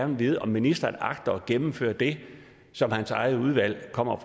vil vide om ministeren agter at gennemføre det som hans eget udvalg kommer